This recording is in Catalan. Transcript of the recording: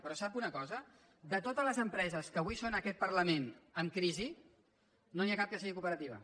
però sap una cosa de totes les empreses que avui són en aquest parlament en crisi no n’hi ha cap que sigui cooperativa